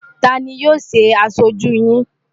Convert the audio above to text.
Ta ni yóò ṣe aṣojú yín?